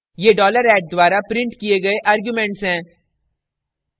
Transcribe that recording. ये $@ द्वारा printed किये गए arguments हैं